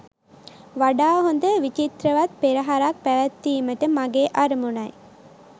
වඩා හොඳ විචිත්‍රවත් පෙරහරක් පැවැත්වීමට මගේ අරමුණයි.